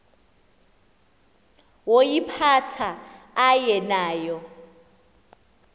woyiphatha aye nayo